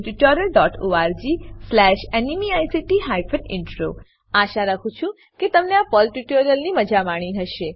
httpspoken tutorialorgNMEICT Intro આશા રાખું છું કે તમે આ પર્લ ટ્યુટોરીયલની મજા માણી હશે